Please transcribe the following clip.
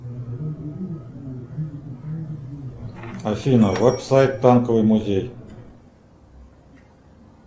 афина веб сайт танковый музей